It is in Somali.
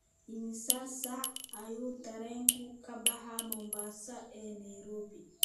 imisa saac ayuu tareenku ka baxaa mombasa ee nairobi